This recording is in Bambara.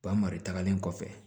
Ba mara tagalen kɔfɛ